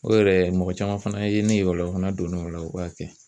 O yɛrɛ mɔgɔ caman fana ye ne ye o la o fana donn'o la o b'a kɛ